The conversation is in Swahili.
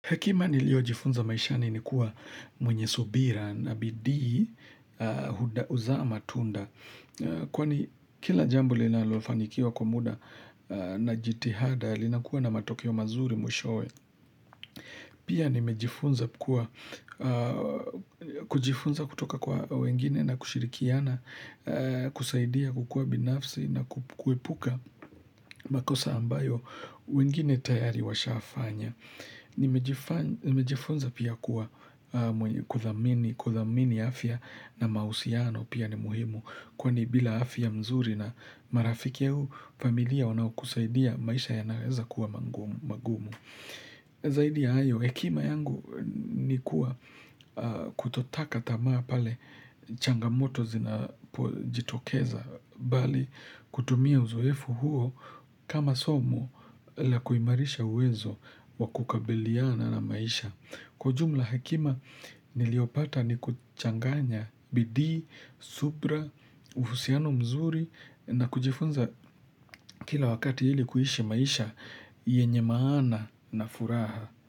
Hekima niliyojifunza maishani ni kuwa mwenye subira na bidii huzaa matunda. Kwani kila jambo linalofanikiwa kwa muda na jitihada linakua na matokeo mazuri mwishowe. Pia nimejifunza kuwa kujifunza kutoka kwa wengine na kushirikiana, kusaidia kukua binafsi na kuepuka makosa ambayo wengine tayari washafanya. Nimejifunza pia kuwa kuthamini afya na mahusiano pia ni muhimu Kwani bila afya mzuri na marafiki au familia wanaokusaidia maisha yanaweza kuwa mangumu magumu Zaidi ya hayo hekima yangu ni kuwa kutotaka tamaa pale changamoto zinapojitokeza bali kutumia uzoefu huo kama somu la kuimarisha uwezo wa kukabiliana na maisha. Kwa ujumla hekima niliopata ni kuchanganya bidii, subra, uhusiano mzuri na kujifunza kila wakati ili kuishi maisha yenye maana na furaha.